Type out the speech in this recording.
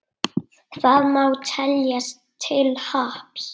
Það má teljast til happs.